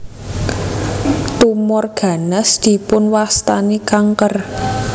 Tumor ganas dipun wastani kanker